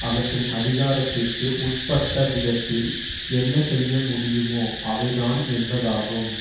அவற்றின் அதிகாரத்திற்கு உட்பட்டவிதத்தில் என்ன செய்யமுடியுமோ அவைதான் என்பதாகும்